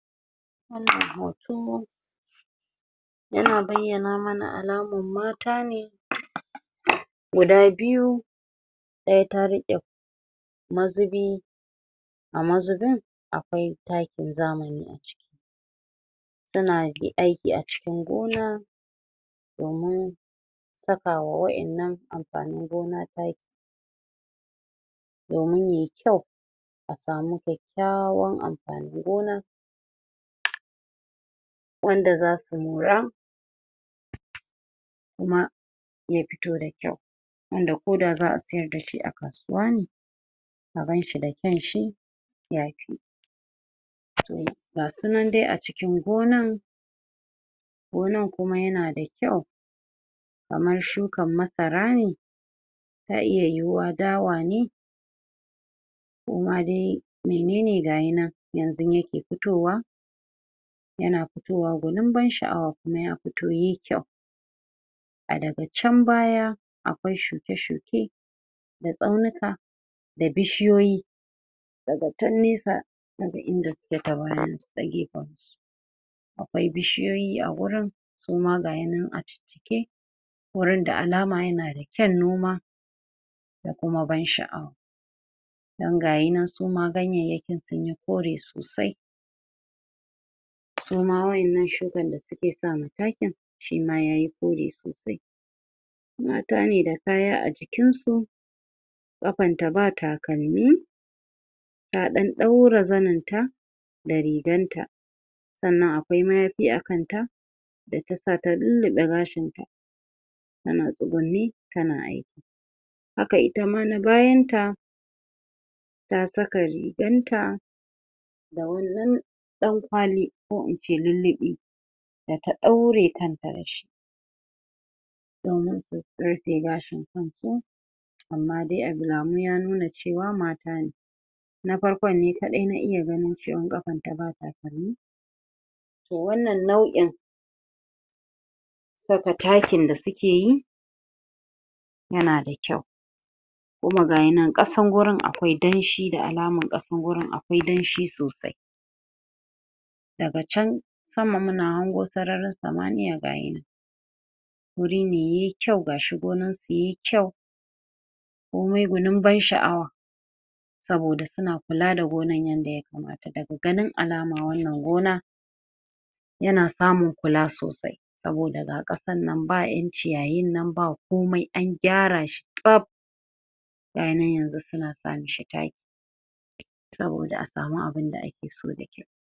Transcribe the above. wannan hoto yana bayyana mana alaman mata ne guda biyu ɗaya ta riƙe ma zubi a mazubin akwai takin zamani suna dai aiki acikin gona domin sakawa wa'in nan amfanin gona taki domin yayi kyau a samu kyak.. kyawan amfanin gona wanda zasu mora kuma ya fito da kyau wanda ko da za'a siyar dashi a kasuwa ne a ganshi da kyanshi yafi gasu nan dai aci.. kin gonan gonan kuma yanada kyau kamar shukan masara ne ta iya yiyiwa dawa ne ko ma dai menene gayi nan yanzun yake fitowa yana futowa gunin ban sha'awa kuma ya fito ye kyau a daga chan baya akwai shuke-shuke da tsaunika da bishiyoyi daga chan nesa daga bayansu ta gefan akwai bishiyoyi agurin koma gayi nan a wurin da alama yanada kyan noma da kuma ban sha'awa don gayi nan suma ganyayyakin sunyi kore sosai suma wa'in nan shukan da suke sa ma takin shima yayi kore sosai mata ne da fara acikin su ƙafanta ba takalmi ta ɗan ɗaura zaninta da riganta sannan a mayafi a kanta da ta sa ta lulluɓe gashinta tana tsugunne tana aiki haka itama na bayanta ta saka ri.. ganta da wani ɗan ɗan kwali ko ince lulluɓi da ta ɗaure kanta dashi domin ta rufe gashin kanta amma dai alamu ya nuna cewa mata ne na farkon ne kaɗai na iya ganin ɗayan ƙafanta ba takalmi toh wannan nau'in saka takin da su ke yi yana da kyau kuma gayi nan ƙasan gurin akwai danshi da alaman ƙasan gurin a kwai danshi sosai daga chan sama muna hango sararin samaniya gayi nan gurine kyau gashi gonan su ye kyau komai gunin ban sha'awa saboda suna kula da gonan yadda ya kamata, daga ganin alama wannan gona yana samun kula sosai saboda ga ƙasa sannan ba ƴan ciyayin nan ba komai an gyara shi tsaff gayi nan yanzu suna sa mishi taki saboda a samu abunda ake so da kyau.